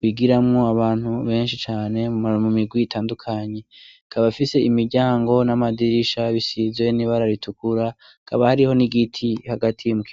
bigiramwo abantu benshi cane mu mirwi itandukanye. Ikaba ifise imiryango n'amadirisha bisize n'ibara ritukura hakaba hariho n'igiti hagati mukibu